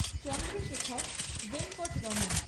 Chandrashekhar Venkataraman